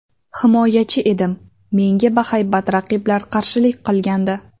Himoyachi edim, menga bahaybat raqiblar qarshilik qilgandi.